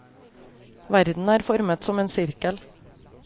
Verden er formet som en sirkel.